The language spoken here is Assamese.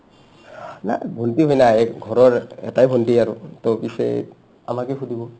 ভন্টি হয় না ঘৰৰ এটায়ে ভন্টি আৰু to পিছে আমাকে সুধিব